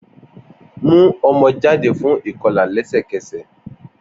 Mu ọmọ jade fun ikọla lẹsẹkẹsẹ!